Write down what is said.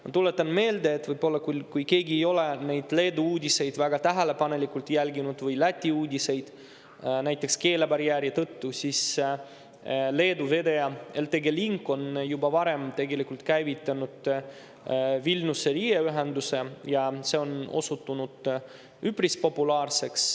Ma tuletan meelde – võib-olla keegi ei ole neid Leedu ja Läti uudiseid väga tähelepanelikult jälginud, näiteks keelebarjääri tõttu –, et Leedu vedaja LTG Link on juba varem käivitanud Vilniuse-Riia ühenduse ja see on osutunud üpris populaarseks.